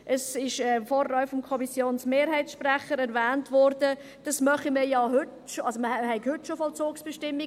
Es wurde vorhin auch vom Kommissionsmehrheitssprecher erwähnt, dies mache man ja heute schon, also man habe schon heute Vollzugsbestimmungen;